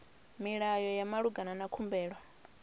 milayo ya malugana na khumbelo